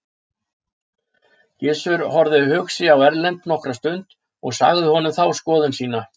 Gizur horfði hugsi á Erlend nokkra stund og sagði honum þá skoðun sína.